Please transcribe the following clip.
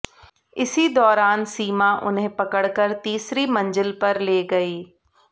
इसी दौरान सीमा उन्हें पकड़कर तीसरी मंजिल पर ले गई